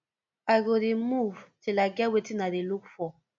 i go dey move till i get wetin i dey look for